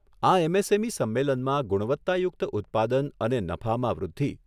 આ એમએસએમઈ સંમેલનમાં ગુણવત્તાયુક્ત ઉત્પાદન અને નફામાં વૃદ્ધિ